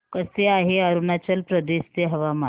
कसे आहे अरुणाचल प्रदेश चे हवामान